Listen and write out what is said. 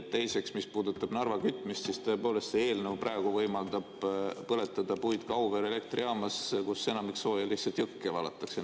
Teiseks, mis puudutab Narva kütmist, siis tõepoolest, see eelnõu praegu võimaldab põletada puitu Auvere elektrijaamas, kus enamik sooja lihtsalt jõkke valatakse.